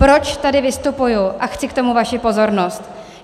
Proč tady vystupuji a chci k tomu vaši pozornost?